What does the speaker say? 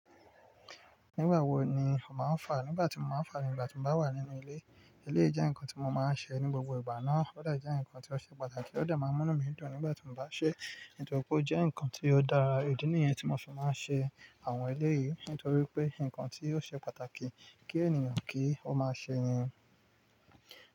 Nígbà wo ni o máa ń fàá? Nígbà tí mo máa ń fàá ni nígbà tí mo bá wà nínú ilé. Ilé jẹ́ nǹkan tí mo máa ń ṣe ní gbogbo ìgbà náà. Ó de je nǹkan tí ó ṣe pàtàkì, ó de máa ń múnú mi dùn nígbà tí mo bá ṣe é. Nítorí pé ó jẹ́ nǹkan tí ó dára. Idi ni yen tí mo fi máa ń ṣe àwọn eleyìí. Nítorí pé nǹkan tí yóò ṣe pàtàkì kí ènìyàn kí ó máa ṣe ẹ́ ni.